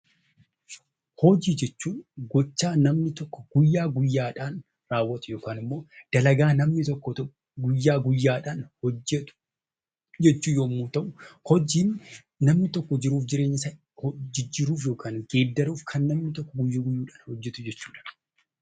Hojii jechuun hojjaa namni tokko guyyaa guyyaadhaan raawwatu (dalagaa namni tokko guyyaa guyyaadhaan hojjetu) jechuu yommuu ta'u, hojiin namni tokko jiruu fi jireenya isaa jijjiiruuf (geeddaruuf) kan namni tokko guyyuu guyyuudhaan hojjetu jechuu dha.